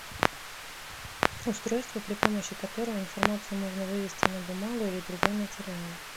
устройство при помощи которого информацию можно вывести на бумагу или другой материал